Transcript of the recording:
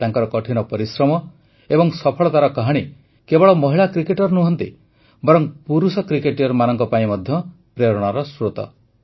ତାଙ୍କର କଠିନ ପରିଶ୍ରମ ଏବଂ ସଫଳତାର କାହାଣୀ କେବଳ ମହିଳା କ୍ରିକେଟର ନୁହନ୍ତି ବରଂ ପୁରୁଷ କ୍ରିକେଟର୍ମାନଙ୍କ ପାଇଁ ମଧ୍ୟ ପ୍ରେରଣାର ସ୍ରୋତ